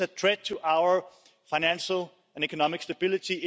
This is a threat to our financial and economic stability.